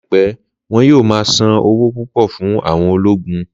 Láìpẹ́, wọn yóò ma san owó púpọ̀ fún àwọn ologun